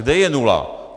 Kde je nula?